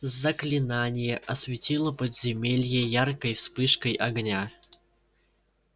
заклинание осветило подземелье яркой вспышкой огня